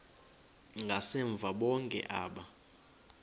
ngasemva bonke aba